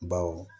Baw